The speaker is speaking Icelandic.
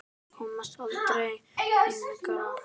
Komst aldrei lengra.